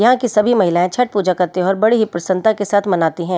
यहां की सभी महिलाएं छट पूजा करते हैं और बड़ी ही प्रसन्नता के साथ मनाती हैं।